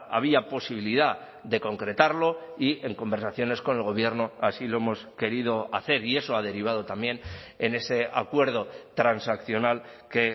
había posibilidad de concretarlo y en conversaciones con el gobierno así lo hemos querido hacer y eso ha derivado también en ese acuerdo transaccional que